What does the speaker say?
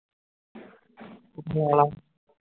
ਤੂੰ ਪਵਾ ਲੈ